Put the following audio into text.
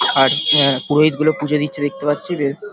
আর অ্যা পুরোহিতগুলো পুজো দিচ্ছে দেখতে পাচ্ছি বেশ --